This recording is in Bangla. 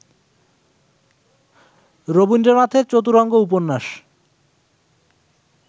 রবীন্দ্রনাথের ‘চতুরঙ্গ’ উপন্যাস